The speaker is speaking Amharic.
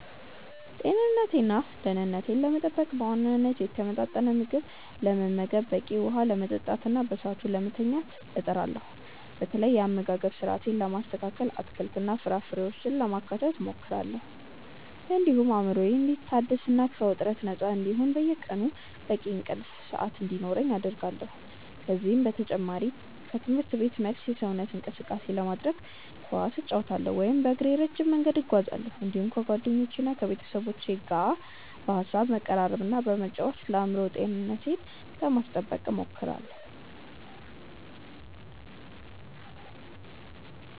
ጤንነቴንና ደኅንነቴን ለመጠበቅ በዋናነት የተመጣጠነ ምግብ ለመመገብ፣ በቂ ውኃ ለመጠጣትና በሰዓቱ ለመተኛት እጥራለሁ። በተለይ የአመጋገብ ስርአቴን ለማስተካከል አትክልትና ፍራፍሬዎችን ለማካተት እሞክራለሁ፤ እንዲሁም አእምሮዬ እንዲታደስና ከውጥረት ነፃ እንዲሆን በየቀኑ በቂ የእንቅልፍ ሰዓት እንዲኖረኝ አደርጋለሁ። ከዚህ በተጨማሪ ከትምህርት ቤት መልስ የሰውነት እንቅስቃሴ ለማድረግ ኳስ እጫወታለሁ ወይም በእግሬ ረጅም መንገድ እጓዛለሁ፤ እንዲሁም ከጓደኞቼና ከቤተሰቦቼ ጋር በሐሳብ በመቀራረብና በመጫወት ለአእምሮ ጤንነቴ ለማስጠበቅ እሞክራለሁ።